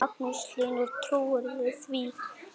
Magnús Hlynur: Trúirðu því?